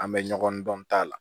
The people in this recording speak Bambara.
An bɛ ɲɔgɔn dɔn a la